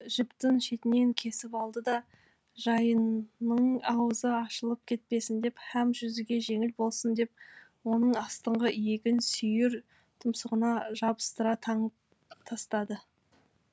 жіптің шетінен кесіп алды да жайынның аузы ашылып кетпесін деп һәм жүзуге жеңіл болсын деп оның астыңғы иегін сүйір тұмсығына жабыстыра таңып тастады